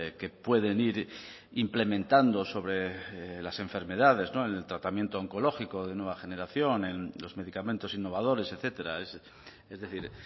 que pueden ir implementando sobre las enfermedades en el tratamiento oncológico de nueva generación en los medicamentos innovadores etcétera es decir